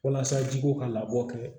Walasa ji ko ka labɔ kɛ